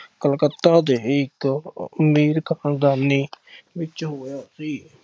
ਕਲਕੱਤਾ ਦੇ ਇੱਕ ਅਮੀਰ ਖਾਨਦਾਨੀ ਵਿੱਚ ਹੋਇਆ ਸੀ।